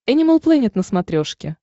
энимал плэнет на смотрешке